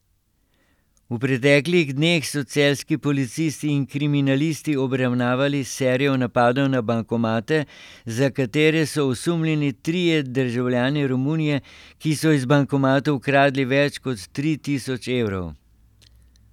V preteklih dneh so celjski policisti in kriminalisti obravnavali serijo napadov na bankomate, za katere so osumljeni trije državljani Romunije, ki so iz bankomatov ukradli več kot tri tisoč evrov.